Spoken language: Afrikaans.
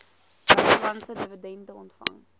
buitelandse dividende ontvang